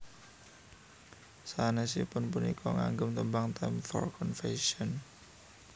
Sanèsiipun punika ngagem tembang Time For Confession